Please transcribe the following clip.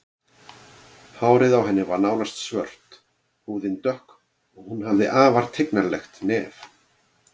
Hárið á henni var nánast svart, húðin dökk og hún hafði afar tignarlegt nef.